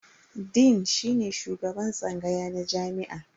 Dean shine shugaban tsangaya na jami'a.